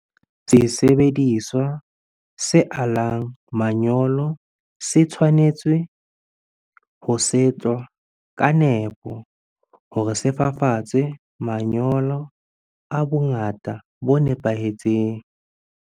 Sesebediswa se alang manyolo se tshwanetse ho setwa ka nepo hore se fafatswe manyolo a bongata bo nepahetseng.